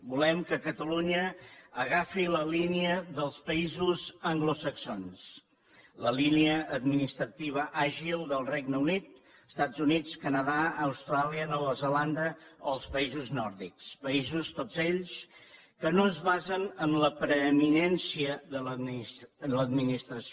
volem que catalunya agafi la línia dels països anglosaxons la línia administrativa àgil del regne unit els estats units el canadà austràlia nova zelanda o els països nòrdics països tots ells que no es basen en la preeminència de l’administració